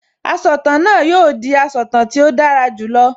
Asọ̀tàn náà yóò di asọ̀tàn tí ó dára jù lọ